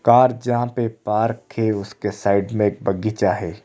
Car जहां पे park है उसके साइड में एक बगीचा है।